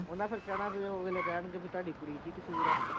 ਵੀ ਤੁਹਾਡੀ ਕੁੜੀ ਚ ਹੀ ਕਸੂਰ ਆ।